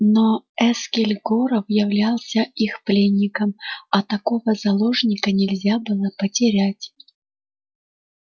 но эскель горов являлся их пленником а такого заложника нельзя было потерять